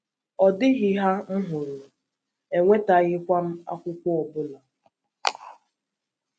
Ọ dịghị hà m hụrụ, enwetaghịkwa m akwụkwọ ọ bụla.